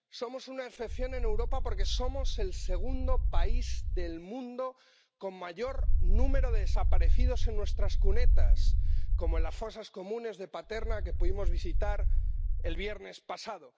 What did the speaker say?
Somos una excepción en Europa, porque somos el segundo país del mundo con mayor número de desaparecidos en nuestras cunetas, como en las fosas comunes de Paterna que pudimos visitar el viernes pasado